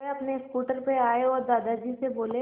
वे अपने स्कूटर पर आए और दादाजी से बोले